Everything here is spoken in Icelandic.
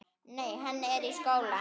Nei, hann er í skóla.